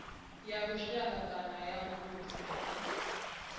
ya lushaka kana ya vundu